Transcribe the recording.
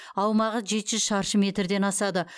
аумағы жеті жүз шаршы метрден асады